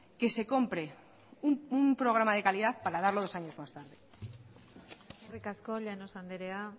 que se compre un programa de calidad para darlo dos años más tarde eskerrik asko llanos andrea